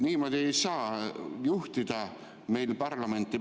Niimoodi ei saa meil parlamenti juhtida.